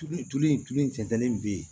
Tulu tulu in tulu in cɛtɛni bɛ yen